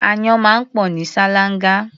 Áyán máa ń pọ̀ ní ṣáláńgá.